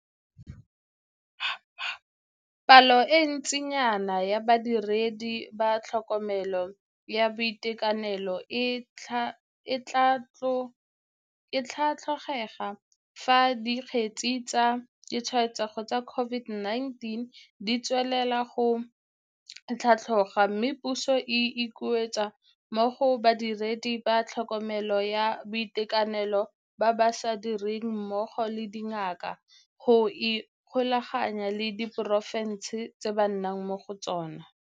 Palo e ntsinyana ya badiredi ba tlhokomelo ya boitekanelo e tlatlhokega fa dikgetse tsa ditshwaetsego tsa COVID-19 di tswelela go tlhatloga mme puso e ikuetse mo go badiredi ba tlhokomelo ya boitekanelo ba ba sa direng mmogo le dingaka go ikgolaganya le diporofense tse ba nnang mo go tsona.